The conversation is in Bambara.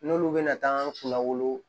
N'olu bɛna taa kunna wolo